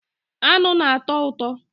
Aṅụ na-atọ ụtọ